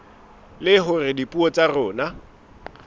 le hore dipuo tsa rona